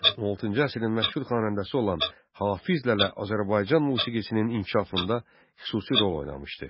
16-cı əsrin məşhur xanəndəsi olan Hafizlərə Azərbaycan musiqisinin inkişafında xüsusi rol oynamışdı.